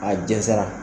A jɛnsɛra